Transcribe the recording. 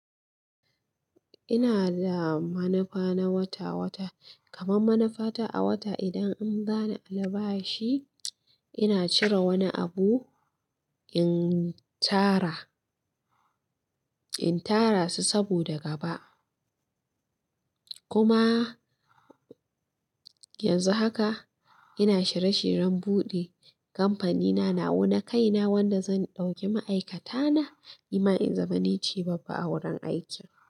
Ina da manufa na wata-wata, kamar manufa ta a wata idan an zana albashi, ina cire wani abu in tara, in tara su saboda gaba. Kuma yanzu haka ina shirye-shiryen buɗe kamfanina nawa na kaina wanda zan ɗauki ma'aikata na, ima in zama ni ce babba a wurin aiki.